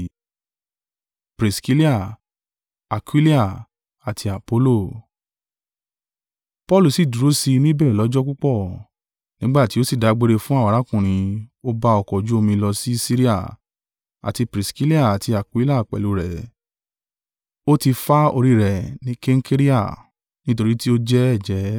Paulu sì dúró sí i níbẹ̀ lọ́jọ́ púpọ̀, nígbà tí ó sì dágbére fún àwọn arákùnrin, ó bá ọkọ̀ ojú omi lọ si Siria, àti Priskilla àti Akuila pẹ̀lú rẹ̀; ó tí fá orí rẹ̀ ni Kenkerea, nítorí tí ó ti jẹ́ ẹ̀jẹ́.